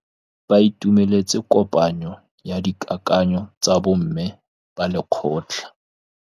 Ba itumeletse kôpanyo ya dikakanyô tsa bo mme ba lekgotla.